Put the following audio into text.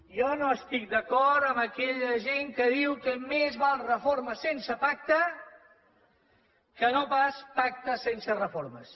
jo no estic d’acord amb aquella gent que diu que més val reforma sense pacte que no pas pactes sense reformes